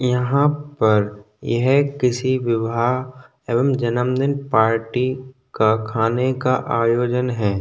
यहाँ पर यह किसी विवाह एवम जन्मदिन पार्टी का खाने का आयोजन है।